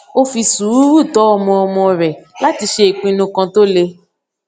ó fi sùúrù tọ ọmọ ọmọ rè láti ṣe ìpinnu kan tó le